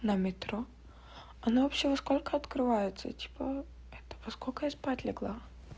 на метро оно вообще во сколько открывается типа это во сколько я спать легла